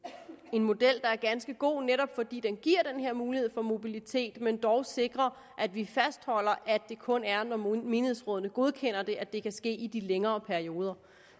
model der er ganske god netop fordi den giver den her mulighed for mobilitet men dog sikrer at vi fastholder at det kun er når menighedsrådene godkender det at det kan ske i de længere perioder